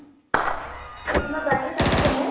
অ । তোমাৰ বাইদেও তাতে পঢ়ে ?